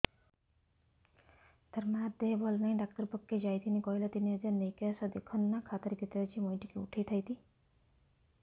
ତାର ମାର ଦେହେ ଭଲ ନାଇଁ ଡାକ୍ତର ପଖକେ ଯାଈଥିନି କହିଲା ତିନ ହଜାର ନେଇକି ଆସ ଦେଖୁନ ନା ଖାତାରେ କେତେ ଅଛି ମୁଇଁ ଟିକେ ଉଠେଇ ଥାଇତି